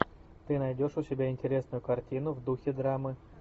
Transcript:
ты найдешь у себя интересную картину в духе драмы